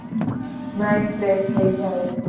Mind fresh થઈ જાય.